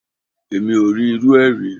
Èmi ò rí irúu rẹ̀ rí.